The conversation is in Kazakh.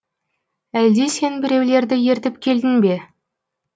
әлде сен біреулерді ертіп келдің бе